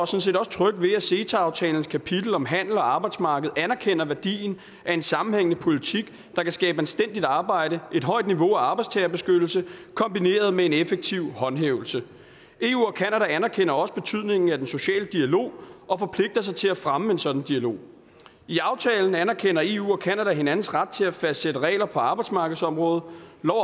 set også trygge ved at ceta aftalens kapitel om handel og arbejdsmarked anerkender værdien af en sammenhængende politik der kan skabe anstændigt arbejde et højt niveau af arbejdstagerbeskyttelse kombineret med en effektiv håndhævelse eu og canada anerkender også betydningen af den sociale dialog og forpligter sig til at fremme en sådan dialog i aftalen anerkender eu og canada hinandens ret til at fastsætte regler på arbejdsmarkedsområdet